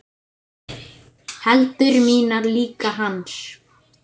Hendur mínar líka hans.